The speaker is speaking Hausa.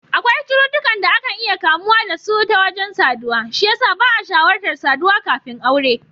Akwai cututtukan da akan iya kamuwa da su ta wajen saduwa, shi yasa ba'a shawartar saduwa kafin aure.